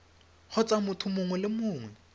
kgotsa motho mongwe le mongwe